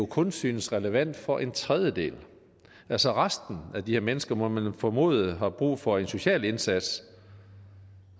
kun synes relevant for en tredjedel altså resten af de her mennesker må man formode har brug for en social indsats